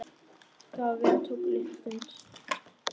Það verk tók litla stund.